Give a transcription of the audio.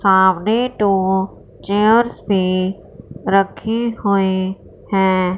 सामने दो चेयर्स भी रखी हुई है।